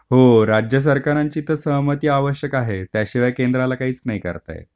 हो राज्य सरकारांची तर सहमती आवश्यक आहे त्याशिवाय केंद्राला काहीच नाही करता येत.